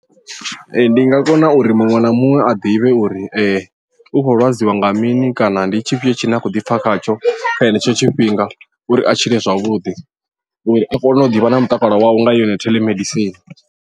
Ee ndi nga kona uri muṅwe na muṅwe a ḓivhe uri u khou lwadziwa nga mini kana ndi tshifhio tshine a khou ḓipfa khatsho kha henetsho tshifhinga uri a tshile zwavhuḓi uri a kone u ḓivha na mutakalo wawe nga yone theḽemedisini.